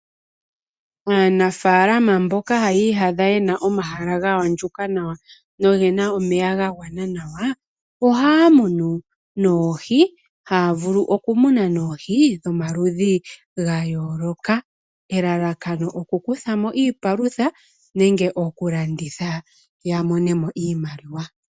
Aanafaalama mboka haya iyadha yena omahala ngoka gaandjuka noyena omeya ga gwana nawa, ohaa munu noohi, haavulu okumuna noohi dhomaludhi gayooloka. Elalakano oku kuthamo iipalutha nenge okulanditha yamonemo iimaliwa.